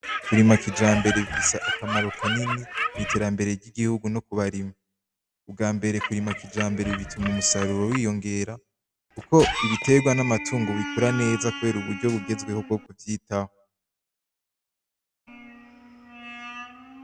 Kurima kijambere bisaba akamaro kanini mw'iterambere ry'igihugu no ku barimyi ubwa mbere kurima kijambere bituma umusaruro wiyongera, kuko ibiterwa n'amatungu bikura neza, kubera uburyo bugezweho bwo kuvyitaho.